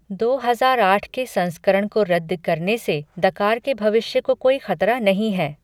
दो हजार आठ के संस्करण को रद्द करने से दकार के भविष्य को कोई खतरा नहीं है।